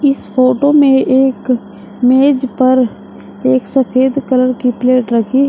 इस फोटो में एक मेज पर एक सफेद कलर की प्लेट रखी है।